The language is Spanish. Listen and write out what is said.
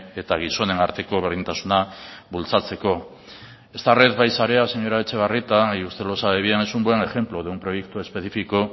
eta gizonen arteko berdintasuna bultzatzeko esta red bai sarea señora etxebarrieta y usted lo sabe bien es un buen ejemplo de un proyecto específico